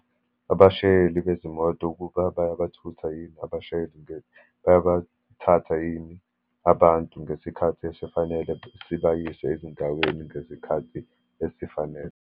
Abashayeli bezimoto ukuba bayabathutha yini abashayeli, nge, bayabathatha yini abantu ngesikhathi esifanele, sibayise ezindaweni ngesikhathi esifanele.